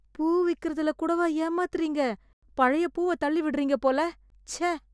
பூ விக்கிறதுல கூடவா ஏமாத்துறீங்க, பழைய பூவ தள்ளி விடுறீங்க போல. ச்ச!